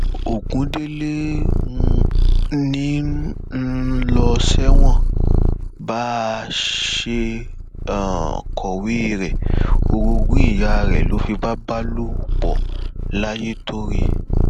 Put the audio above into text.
ogundélé ń um lọ sẹwọn bá a um ṣe kọwé rẹ orogún ìyá rẹ ló fipá bá lò pọ layétọrẹ